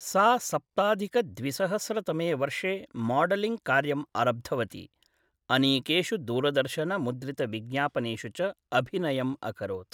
सा सप्ताधिक द्विसहस्र तमे वर्षे माड्लिङ्ग् कार्यं आरब्धवती, अनेकेषु दूरदर्शन मुद्रितविज्ञापनेषु च अभिनयम् अकरोत् ।